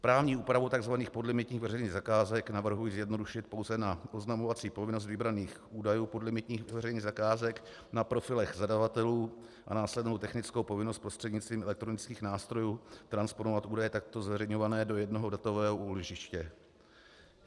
Právní úpravu tzv. podlimitních veřejných zakázek navrhuji zjednodušit pouze na oznamovací povinnost vybraných údajů podlimitních veřejných zakázek na profilech zadavatelů a následnou technickou povinnost prostřednictvím elektronických nástrojů transponovat údaje takto zveřejňované do jednoho datového úložiště.